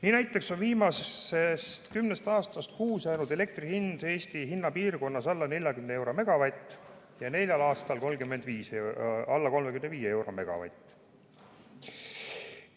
Nii näiteks on viimasest kümnest aastast kuuel jäänud elektri hind Eesti hinnapiirkonnas alla 40 euro megavati eest ja neljal aastal alla 35 euro megavati eest.